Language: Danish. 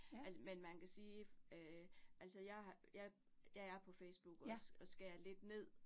Men man kan sige øh altså jeg har jeg jeg er på Facebook også, og skærer lidt ned